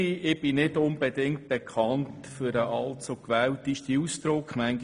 Ich bin nicht unbedingt bekannt für eine allzu gewählte Ausdrucksweise.